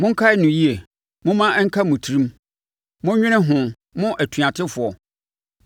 “Monkae no yie, momma ɛnka mo tirim, monnwene ho mo atuatefoɔ.